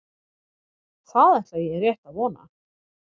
Það ætla ég rétt að vona